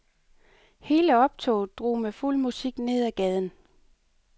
Hele optoget drog med fuld musik ned ad gaden.